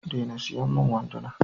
Dena siyan min wanduna!